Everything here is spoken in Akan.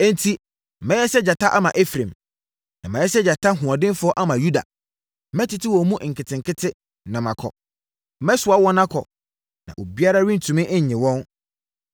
Enti mɛyɛ sɛ gyata ama Efraim na mayɛ sɛ gyata hoɔdenfoɔ ama Yuda. Mɛtete wɔn mu nkete nkete, na makɔ; Mɛsoa wɔn akɔ, na obiara rentumi nnye wɔn.